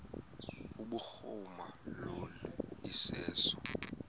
kubhuruma lo iseso